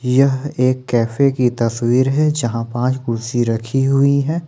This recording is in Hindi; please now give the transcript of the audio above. यह एक कैफे की तस्वीर है यहां पांच कुर्सी रखी हुई हैं।